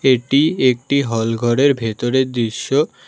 এটি একটি হল ঘরের ভেতরের দৃশ্য।